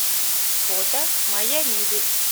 фото моя мебель